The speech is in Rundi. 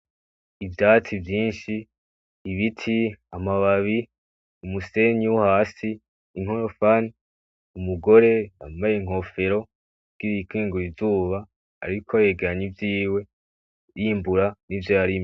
Ivyatsi vyishi Ibiti amababi umusenyi wohasi inkorofani umugore yambaye inkoforo kugira yikingire izuba ariko yegeranya ivyiwe yimbura ivyo yarimye.